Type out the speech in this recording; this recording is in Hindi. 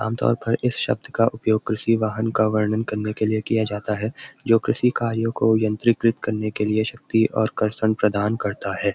आमतौर पर इस शब्‍द का उपयोग कृर्षि वाहन का वर्णन करने के लिए किया जाता है जो कृर्षि कार्यों को यंत्रीकृत करने के लिए शक्ति और कर्षन प्रदान करता है।